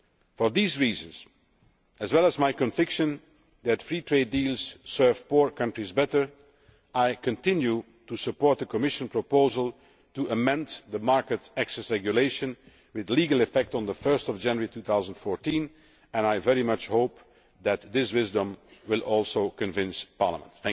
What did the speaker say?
For these reasons, as well as my conviction that free trade deals serve poor countries better, I continue to support the Commission proposal to amend the Market Access Regulation with legal effect on 1 January 2014 and I very much hope that this wisdom will also convince Parliament.